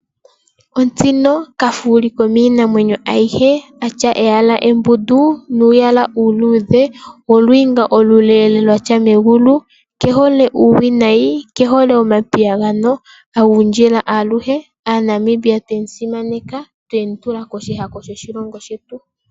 Ontsino kafuuli komiinamwenyo ayihe, atya eyala embundu nuuyala uuluudhe nolwiinga oluleele lwatsa megulu, kehole uuwinayi, kehole omapiyagano, agundjila aluhe. AaNamibia twemusimaneka twemutula koshihako shoshilongo shetu.